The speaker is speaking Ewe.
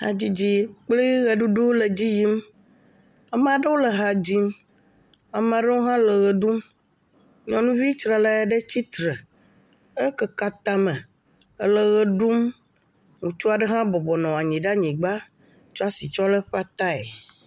Hadzidzi kpli ʋeɖuɖu le dzi yim, ame aɖewo le ha dzim, ame aɖewo hã le ʋe ɖum, nyɔnuvi tsralɛ aɖe tsitre, ekeke atame le ʋe ɖum, ŋutsu aɖe hã bɔbɔ nɔ anyigba tsɔ asi tsɔ lé eƒe atae.